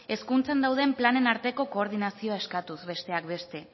hezkuntzan dauden planen arteko koordinazioa eskatuz besteak beste